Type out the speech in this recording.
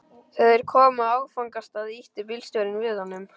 Þegar þeir komu á áfangastað ýtti bílstjórinn við honum.